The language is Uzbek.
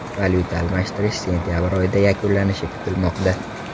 Valyuta almashtirish sentabr oyida yakunlanishi kutilmoqda.